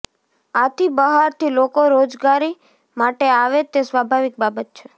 આથી બહારથી લોકો રોજગારી માટે આવે તે સ્વાભાવિક બાબત છે